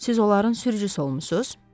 Siz onların sürücüsü olmusunuz?